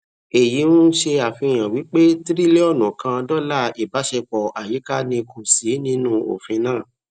èyí n ṣe àfihàn wí pé triliọnù kan dọlà ìbáṣepọ àyíká ní kò sí ní nù ofin náà